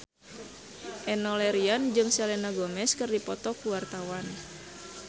Enno Lerian jeung Selena Gomez keur dipoto ku wartawan